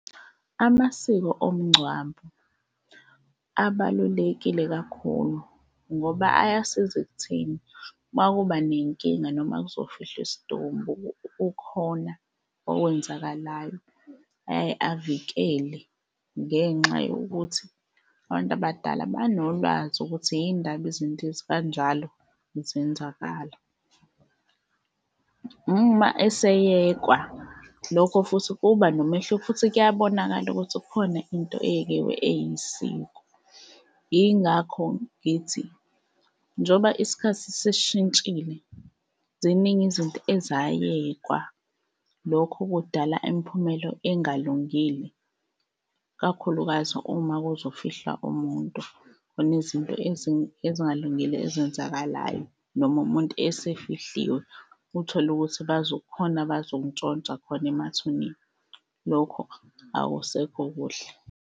Amasiko omngcwabo abalulekile kakhulu ngoba ayasiza ekutheni uma kuba nenkinga noma kuzofihlwa isidumbu kukhona okwenzakalayo aye avikele ngenxa yokuthi abantu abadala banolwazi ukuthi yini ndaba izinto ezikanjalo zenzakala. Uma eseyekwa lokho futhi kuba nomehluko futhi kuyabonakala ukuthi kukhona into eyisiko. Yingakho ngithi njoba isikhathi sesishintshile ziningi izinto ezayekwa. Lokho kudala imiphumela engalungile, kakhulukazi uma kuzofihlwa umuntu, kunezinto ezingalungile ezenzakalayo noma umuntu esefihliwe uthole ukuthi kukhona abazokuntshontsha khona emathuneni. Lokho akusekho kuhle.